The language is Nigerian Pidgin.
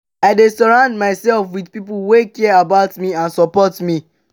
i dey surround myself with people wey care about me and support me.